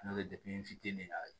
N'o tɛ n fitinin na